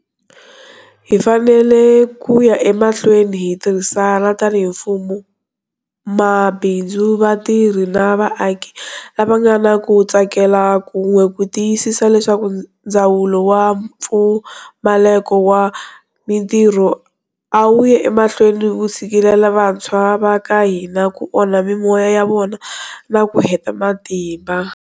Hi fanele ku ya emahlweni hi tirhisana tanihi mfumo, mabindzu, vatirhi na vaaki lava nga na ku tsakela kun'we ku tiyisisa leswaku ndzawulo wa mpfumaleko wa mitirho a wu yi emahlweni wu tshikelela vantshwa va ka hina, ku onha mimoya ya vona na ku heta matimba.